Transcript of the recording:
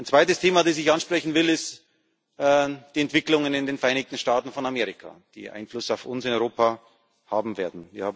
Ein zweites Thema, das ich ansprechen will, sind die Entwicklungen in den Vereinigten Staaten von Amerika, die Einfluss auf uns in Europa haben werden.